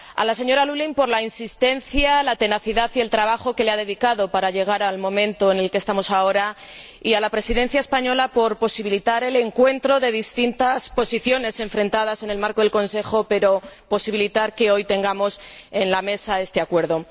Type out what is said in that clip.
A la señora Lulling por la insistencia, la tenacidad y el trabajo que le ha dedicado para llegar al momento en el que estamos ahora, y a la Presidencia española por posibilitar el encuentro de distintas posiciones enfrentadas en el marco del Consejo para que hoy tengamos en la mesa este acuerdo.